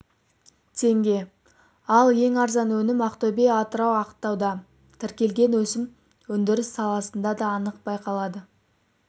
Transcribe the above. теңге ал ең арзан өнім ақтөбе атырау ақтауда тіркелген өсім өндіріс саласында да анық байқалады